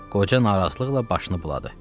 Qoca narazılıqla başını buladı.